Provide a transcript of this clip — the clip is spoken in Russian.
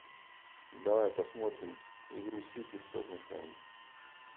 давай посмотрим игру сити с тоттенхэмом